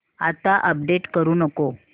आता अपडेट करू नको